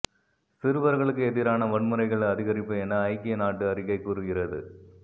சிறுவர்களுக்கு எதிரான வன்முறைகள் அதிகரிப்பு என ஐக்கிய நாட்டு அறிக்கை கூறுகிறது